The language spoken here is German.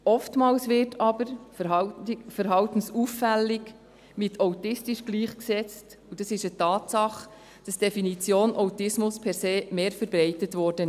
Oftmals wird aber verhaltensauffällig mit autistisch gleichgesetzt, und es ist eine Tatsache, dass die Diagnose Autismus per se mehr verbreitet wurde.